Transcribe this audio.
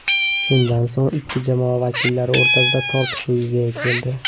Shundan so‘ng ikki jamoa vakillari o‘rtasida tortishuv yuzaga keldi.